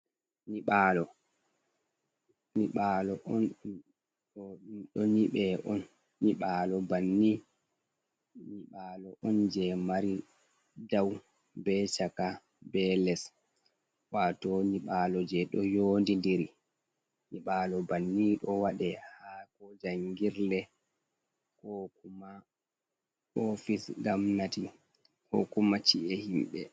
Nyiɓalo ɗo nyibe on nyiɓalo banni nyiɓalo on je mari dau be chaka be les, wato nyiɓalo je ɗo yondi diri nyiɓalo banni do waɗe ha ko jangirle kokuma ofis gomnati ko kuma ci’e himɓe.